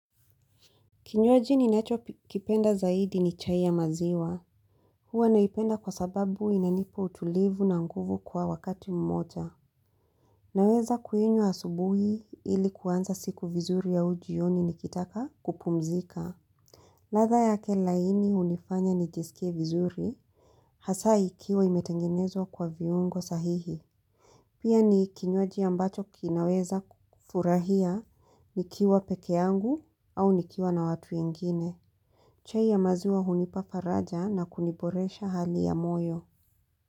Kinywaji ninachokipenda zaidi ni chai ya maziwa. Huwa naipenda kwa sababu inanipa utulivu na nguvu kwa wakati mmoja. Naweza kuinywa asubuhi ili kuanza siku vizuri au jioni nikitaka kupumzika. Ladha yake laini hunifanya nijisikie vizuri, hasaa ikiwa imetengenezwa kwa viungo sahihi. Pia ni kinywaji ambacho kinaweza kufurahia nikiwa pekee yangu au nikiwa na watu wengine. Chai ya maziwa hunipa faraja na kuniboresha hali ya moyo.